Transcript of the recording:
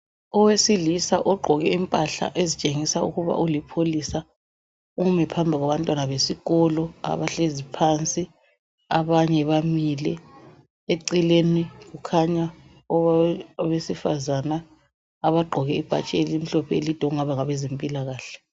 Owesilisa ogqoke impahla ezitshengisa ukuba ulipholisa. Umi phambi kwabantwana besikolo abahlezi phansi abanye bamile. Eceleni kukhanya owesifazana abagqoke ibhatshi elimhlophe elide kungaba ngabezempilakahle.